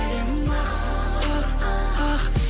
жүрегім ақ ақ ақ